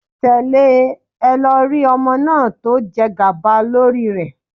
Tẹ̀lé e lọ rí ọmọ náà tó jẹgàba lórí rẹ